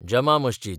जमा मस्जीद